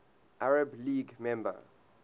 arab league member